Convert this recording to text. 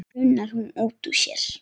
bunar hún út úr sér.